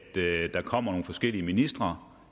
det at der kommer nogle forskellige ministre